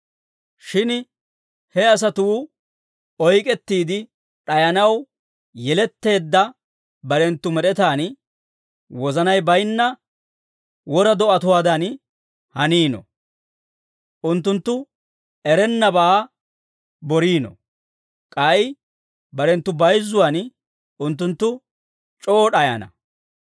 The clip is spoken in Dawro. Shin he asatuu oyk'k'ettiide d'ayanaw yeletteedda barenttu med'etaan wozanay bayinna wora do'atuwaadan haniino; unttunttu erennabaa boriino; k'ay barenttu bayizzuwan, unttunttu c'oo d'ayana.